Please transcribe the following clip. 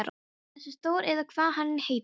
Þessi Þór eða hvað hann heitir.